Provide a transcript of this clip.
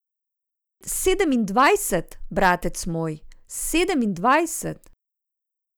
Sedemindvajset, bratec moj, sedemindvajset.